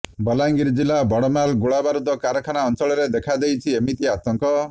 ବଲାଙ୍ଗିର ଜିଲ୍ଲା ବଡ଼ମାଲ ଗୋଳାବାରୁଦ କାରଖାନା ଅଞ୍ଚଳରେ ଦେଖା ଦେଇଛି ଏମିତି ଆତଙ୍କ